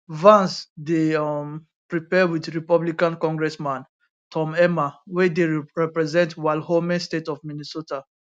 vance dey um prepare wit republican congressman tom emmer wey dey represent wal home state of minnesota